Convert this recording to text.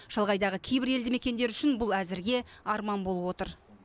шалғайдағы кейбір елді мекендер үшін бұл әзірге арман болып отыр